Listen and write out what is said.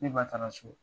Ne ba taara so